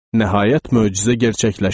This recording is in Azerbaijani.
Nəhayət möcüzə gerçəkləşdi.